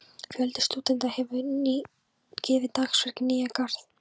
Fjöldi stúdenta hefur gefið dagsverk í Nýja-Garð.